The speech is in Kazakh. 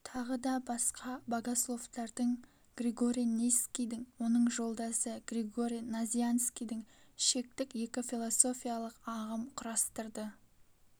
тағы да басқа богословтардың григорий нисскийдің оның жолдасы григорий назианскийдің шектік екі философиялық ағым құрастырды